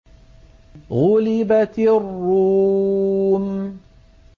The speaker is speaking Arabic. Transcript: غُلِبَتِ الرُّومُ